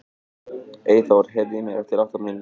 Eyþór, heyrðu í mér eftir átta mínútur.